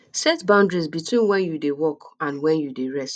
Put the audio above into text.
set boundaries beween when you dey work and when you dey rest